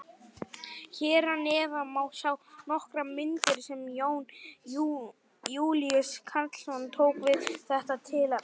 Hér að neðan má sjá nokkrar myndir sem Jón Júlíus Karlsson tók við þetta tilefni.